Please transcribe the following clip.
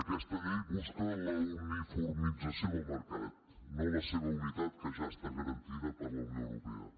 aquesta llei busca la uniformització del mercat no la seva unitat que ja està garantida per la unió europea